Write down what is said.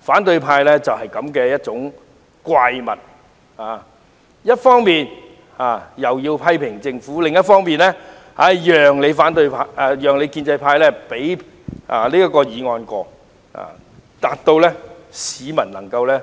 反對派就是這樣的一種怪物，他們一方面批評政府，另一方面卻要靠建制派通過議案，讓市民能夠